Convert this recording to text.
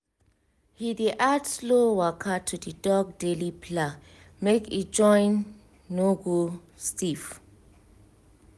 he dey add slow waka to the dog daily plan make e join no go stiff